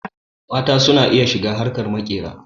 Mata ma su na iya shiga harkar maƙera.